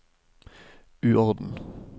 uorden